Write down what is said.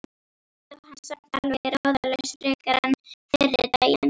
Ekki dó hann samt alveg ráðalaus frekar en fyrri daginn.